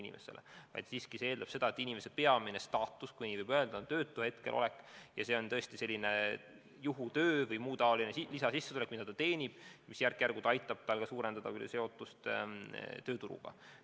See siiski eeldab seda, et inimese peamine staatus, kui nii võib öelda, on hetkel töötu olek ja see on juhutöö eest saadav lisasissetulek, mida ta teenib ja mis järk-järgult aitab tal suurendada seotust tööturuga.